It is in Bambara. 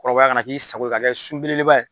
Kɔrɔbaya ka na k'i sago ye. Ka kɛ sunbelebeleba ye.